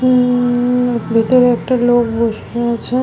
হুম-ম-ম ভেতরে একটি লোক বসে আছে ।